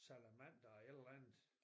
Salamander et eller andet